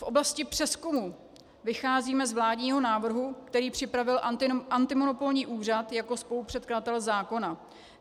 V oblasti přezkumu vycházíme z vládního návrhu, který připravil antimonopolní úřad jako spolupředkladatel zákona.